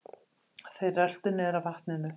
Þeir röltu niður að vatninu.